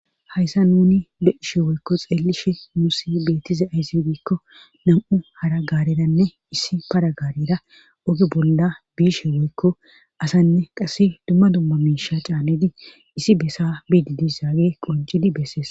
hayssa nuni de7ishe woykko xeelishe nusi beettize ayszi diikko nam7u hara gaaredanne issi para gaarera oge bolla biishe woykko asanne qasse dumma dumma miisha caanidi issi bessa biidi dissage qoncidi bessees